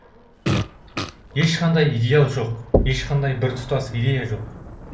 ешқандай идеал жоқ ешқандай біртұтас идея жоқ